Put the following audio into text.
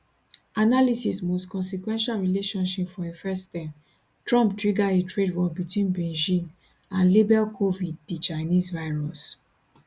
analysis most consequential relationship for im first term trump trigger a trade war wit beijing and label covid di chinese virus